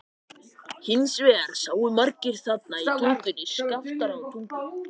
Hins vegar sáu margir þarna í Tungunni, Skaftártungu.